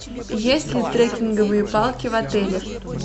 есть ли трекинговые палки в отеле